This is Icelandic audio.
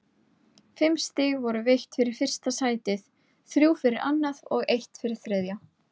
Fimm stig voru veitt fyrir fyrsta sætið, þrjú fyrir annað og eitt fyrir þriðja.